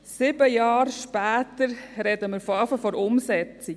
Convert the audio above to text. Sieben Jahre später reden wir erst von der Umsetzung.